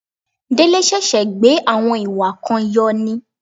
Délé ṣẹ̀ṣẹ̀ gbé àwọn ìwà kan yọ ni